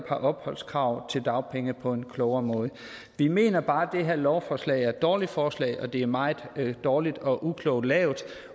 opholdskravet til dagpenge på en klogere måde vi mener bare det her lovforslag er et dårligt forslag det er meget dårligt og uklogt lavet